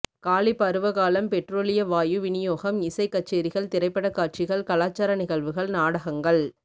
காலி பருவ காலம் பெற்றோலிய வாயு விநியோகம் இசைக் கச்சேரிகள் திரைப்படக் காட்சிகள் கலாசார நிகழ்வுகள் நாடகங்கள்